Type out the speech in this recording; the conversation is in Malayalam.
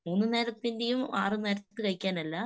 മൂന്ന് നേരത്തിന്റേയും ആറ് നേരത്ത്‌ കഴിക്കാനല്ല.